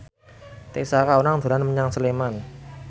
Tessa Kaunang dolan menyang Sleman